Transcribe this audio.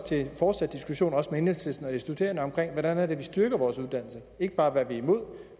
til en fortsat diskussion også med enhedslisten og de studerende om hvordan vi styrker vores uddannelser ikke bare hvad vi er imod